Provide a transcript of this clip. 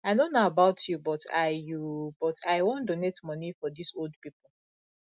i no know about you but i you but i wan donate money for dis old people